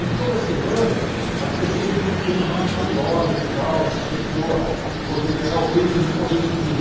E toda semana as perguntas iam ficando mais valiosas e tal, né para a pessoa poder ganhar o prêmio se respondesse tudo.